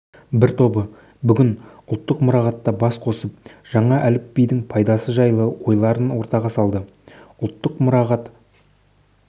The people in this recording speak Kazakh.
бір тобы бүгін ұлттық мұрағатта бас қосып жаңа әліпбидің пайдасы жайлы ойларын ортаға салды ұлттық мұрағат